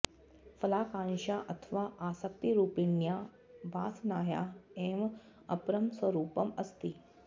फलाकांक्षा अथवा आसक्तिरुपिण्या वासनाया एव अपरं स्वरुपम् अस्ति